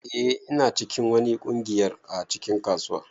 Eh ina cikin wani kungiyar a cikin kasuwa.